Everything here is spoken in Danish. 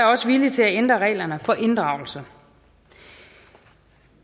også villig til at ændre reglerne for inddragelse